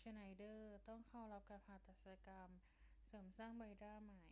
ชไนเดอร์ต้องเข้ารับการผ่าตัดศัลยกรรมเสริมสร้างใบหน้าใหม่